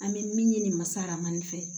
An bɛ min ɲini masa rahamani fɛ